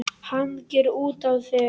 Hangir utan á þér!